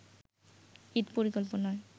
ঈদ পরিকল্পনায়